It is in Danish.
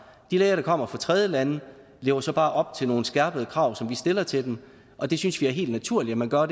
de læger der kommer fra tredjelande lever så bare op til nogle skærpede krav som vi stiller til dem og det synes vi er helt naturligt at man gør